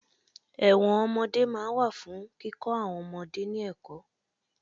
Ẹ̀wọ̀n ọmọdé máa ń wà fún kíkọ àwọn ọmọdé ní ẹ̀kọ́